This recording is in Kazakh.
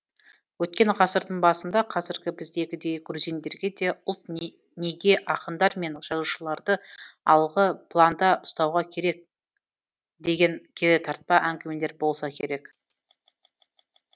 өткен ғасырдың басында қазіргі біздегідей грузиндерде де ұлт неге ақындар мен жазушыларды алғы планда ұстауы керек деген керітартпа әңгімелер болса керек